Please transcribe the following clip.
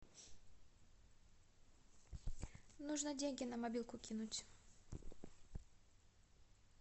нужно деньги на мобилку кинуть